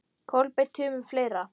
Kolbeinn Tumi Fleira?